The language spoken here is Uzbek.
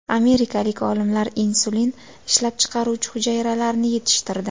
Amerikalik olimlar insulin ishlab chiqaruvchi hujayralarni yetishtirdi.